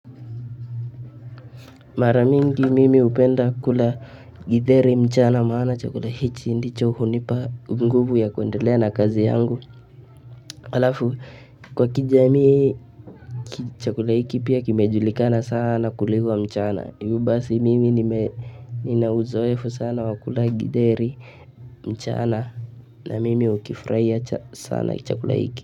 Mara mingi mimi hupenda kula githeri mchana maana chakula hichi ndicho hunipa nguvu ya kuendelea na kazi yangu. Halafu kwa kijamii chakula hiki pia kimejulikana sana kuliwa mchana. Hivyo basi mimi ninauzoefu sana wa kula githeri mchana na mimi hukifurahia sana chakula hiki.